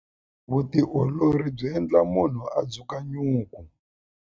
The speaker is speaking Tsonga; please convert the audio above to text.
Vutiolori byi endla munhu a dzukanyuku.